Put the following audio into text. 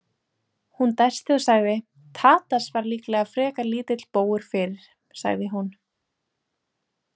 Hún dæsti og sagði: Tadas var líklega frekar lítill bógur fyrir, sagði hún.